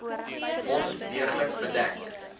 wond deeglik bedek